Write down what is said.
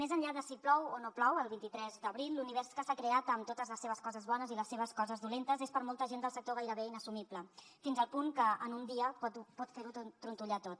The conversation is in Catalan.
més enllà de si plou o no plou el vint tres d’abril l’univers que s’ha creat amb totes les seves coses bones i les seves coses dolentes és per a molta gent del sector gairebé inassumible fins al punt que en un dia pot fer ho trontollar tot